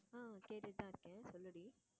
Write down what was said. ஆஹ் கேட்டுட்டு தான் இருக்கேன் சொல்லுடி